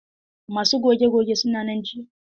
Masu goge gogen suna nan jiya?